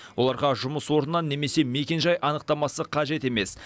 оларға жұмыс орнынан немесе мекенжай анықтамасы қажет емес